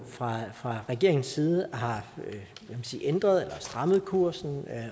fra fra regeringens side har ændret eller strammet kursen